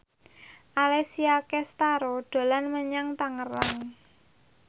Alessia Cestaro dolan menyang Tangerang